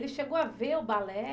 Ele chegou a ver o balé?